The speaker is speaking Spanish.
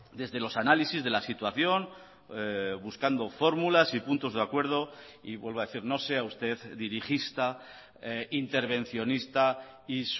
desde los análisis de la situación buscando fórmulas y puntos de acuerdo y vuelvo a decir no sea usted dirigista intervencionista y